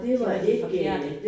Det var de forkerte